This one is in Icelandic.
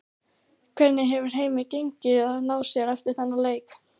Hvernig hefur heimi gengið að ná sér eftir þann leik?